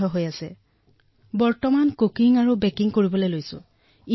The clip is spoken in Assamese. লকডাউনৰ সময়ছোৱাত মই বেকিং আৰু কুকিং শিকিছো